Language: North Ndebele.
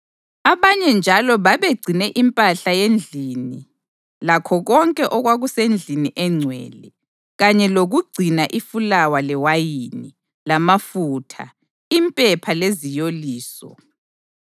Abanye njalo babegcine impahla yendlini lakho konke okwakusendlini engcwele, kanye lokugcina ifulawa lewayini, lamafutha, impepha leziyoliso.